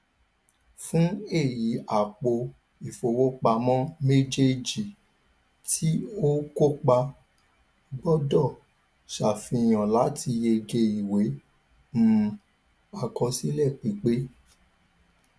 fún èyí àpò ìfowópamọ méjèèjì ti o kópa gbọdọ sàfihàn láti yege ìwé um àkọsílẹ pípé